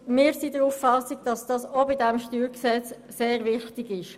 Wir sind der Auffassung, dies sei auch bei diesem StG sehr wichtig.